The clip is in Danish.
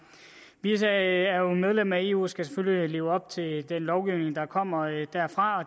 vi er jo medlem af eu og skal selvfølgelig leve op til den lovgivning der kommer derfra og